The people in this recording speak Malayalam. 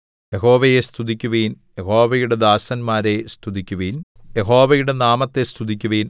യഹോവയെ സ്തുതിക്കുവിൻ യഹോവയുടെ ദാസന്മാരെ സ്തുതിക്കുവിൻ യഹോവയുടെ നാമത്തെ സ്തുതിക്കുവിൻ